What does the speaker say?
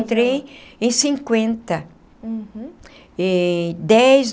Entrei em cinquenta. Uhum. Eh dez.